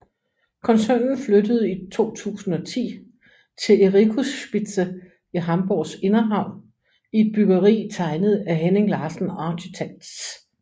Koncernen flyttede i 2010 til Ericusspitze i Hamborgs inderhavn i et byggeri tegnet af Henning Larsen Architects